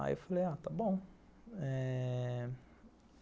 Aí eu falei, ah, está bom. Eh...